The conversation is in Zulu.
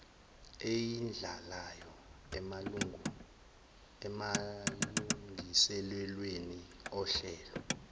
eyidlalayo emalungiselelweni ohlelo